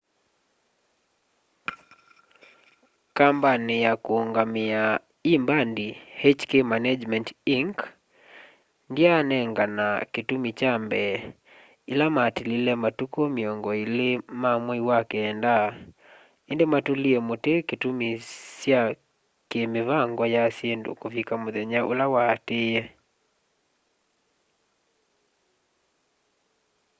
kambani ya kũũngamĩa ĩ mbandi hk management inc ndyanengana kĩtumi kya mbee ĩla matilile matukũ mĩongo ĩlĩ ma mwei wa kenda ĩndĩ matũlie mũtĩ itumi sya kĩ mĩvango ya syĩndũ kũvika mũthenya ũla waatĩĩe